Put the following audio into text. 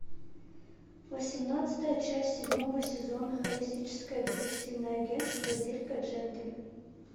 восемнадцатая часть седьмого сезона холистическое детективное агентство дирка джентли